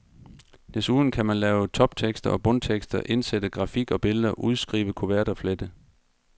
Desuden kan man lave toptekster og bundtekster, indsætte grafik og billeder, udskrive kuverter, flette.